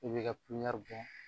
I b'i ka bɔn.